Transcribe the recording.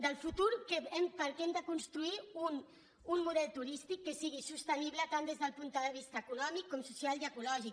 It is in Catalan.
del futur perquè hem de construir un model turístic que sigui sostenible tant des del punt de vista econòmic com social i ecològic